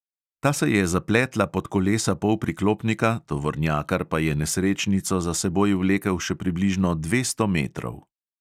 Ta se je zapletla pod kolesa polpriklopnika, tovornjakar pa je nesrečnico za seboj vlekel še približno dvesto metrov.